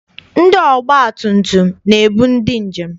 Ndị ọgbatumtum na-ebu ndị njem.